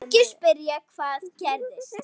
Margir spyrja: Hvað gerðist?